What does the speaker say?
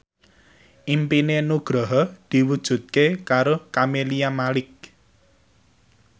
impine Nugroho diwujudke karo Camelia Malik